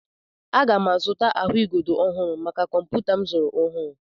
Aga m azụta ahụigodo ọhụrụ maka kọmputa m izu ọhụrụ.